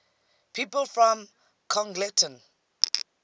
people from congleton